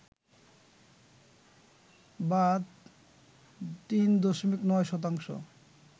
বা ৩.৯ শতাংশ